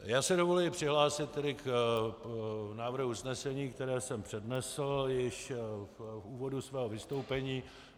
Já si dovoluji přihlásit tedy k návrhu usnesení, které jsem přednesl již v úvodu svého vystoupení.